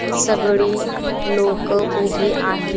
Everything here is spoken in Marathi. अं सगळी लोकं उभी आहेत.